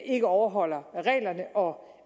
ikke overholder reglerne og